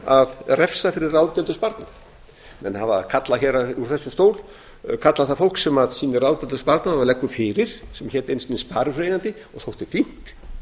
að refsa fyrir ráðdeild og sparnað menn hafa kallað úr þessum stól kallað það fólk sem sýnir ráðdeild og sparnað og leggur fyrir sem hét einu sinni sparifjáreigandi og þótti fínt